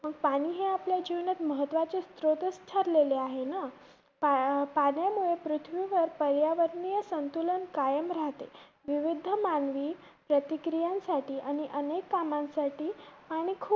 पाणी हे आपल्या जीवनात महत्वाचे स्त्रोत ठरलेले आहेनं? पाण्यामुळे आपल्या पृथ्वीवर पर्यावरणीय संतुलन कायम राहते. विविध मानवी प्रतिक्रियांसाठी आणि अनेक कामांसाठी